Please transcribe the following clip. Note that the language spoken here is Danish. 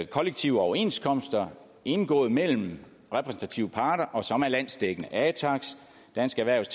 kollektive overenskomster indgået mellem repræsentative parter og som er landsdækkende atax dansk erhvervs